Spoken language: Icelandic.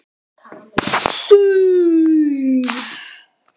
Litlu síðar heyrðust tvær litlar iljar trítla um fjalirnar.